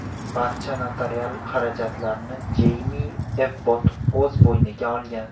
Barcha notarial xarajatlarni Jeymi Ebbot o‘z bo‘yniga olgan.